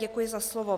Děkuji za slovo.